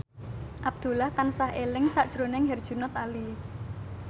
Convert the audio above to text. Abdullah tansah eling sakjroning Herjunot Ali